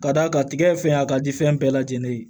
Ka d'a kan tigɛ fɛn a ka di fɛn bɛɛ lajɛlen ye